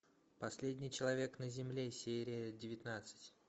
последний человек на земле серия девятнадцать